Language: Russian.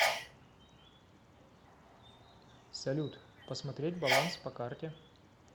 салют посмотреть баланс по карте